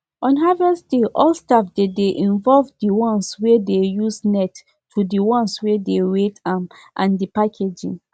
on harvest day all staff dey dey involvedthe ones wey dey use net to the ones wey dey weight am and the packaging